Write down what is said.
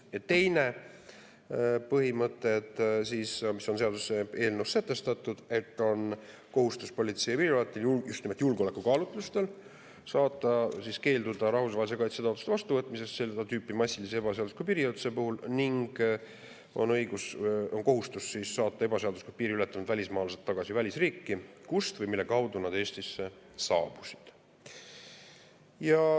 Ja teine põhimõte, mis on seaduseelnõus kirjas, on Politsei- ja Piirivalveameti kohustus just nimelt julgeolekukaalutlustel keelduda rahvusvahelise kaitse taotluste vastuvõtmisest seda tüüpi massilise ebaseadusliku piiriületuse puhul ning õigus ja kohustus saata ebaseaduslikult piiri ületanud välismaalased tagasi välisriiki, kust või mille kaudu nad Eestisse saabusid.